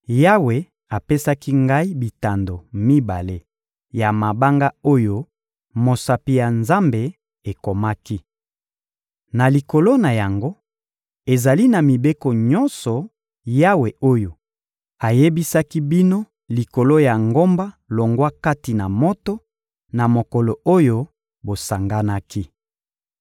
Yawe apesaki ngai bitando mibale ya mabanga oyo mosapi ya Nzambe ekomaki. Na likolo na yango, ezali na mibeko nyonso Yawe oyo ayebisaki bino likolo ya ngomba longwa kati na moto, na mokolo oyo bosanganaki.